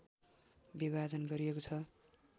विभाजन गरिएको छ